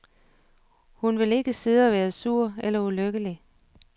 Hun vil ikke sidde og være sur eller ulykkelig.